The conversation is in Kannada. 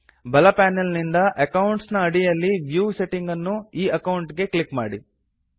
ಬಲ ಪ್ಯಾನಲ್ ನಿಂದ ಅಕೌಂಟ್ಸ್ ನ ಅಡಿಯಲ್ಲಿನ ವ್ಯೂ ಸೆಟ್ಟಿಂಗ್ಸ್ ಅನ್ನು ಈ ಅಕೌಂಟ್ ಗೆ ಕ್ಲಿಕ್ ಮಾಡಿ